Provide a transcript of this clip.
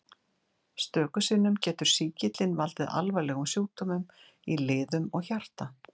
Stöku sinnum getur sýkillinn valdið alvarlegum sjúkdómum í liðum og hjarta.